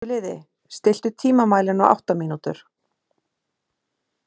Veturliði, stilltu tímamælinn á átta mínútur.